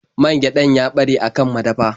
Man gyaɗar ya ɓare a kan madafa.